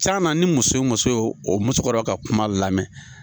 Ca na ni muso muso ye o musokɔrɔba ka kuma lamɛn.